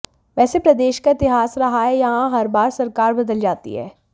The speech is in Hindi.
वैसे प्रदेश का इतिहास रहा है यहां हर बार सरकार बदल जाती है